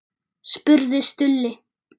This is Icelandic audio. spurði Stulli.